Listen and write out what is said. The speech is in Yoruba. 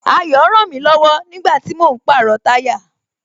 Ayo rànmí lọ̀wọ̀ nígbàtí mò ń pàrọ̀ táyà